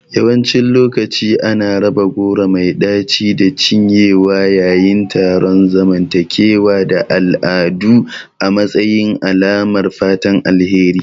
Yawancin lokaci ana raba goro mai ɗaci da cinyewa yayin taron zamantakewa da al'adu a matsayin alamar fatan alheri.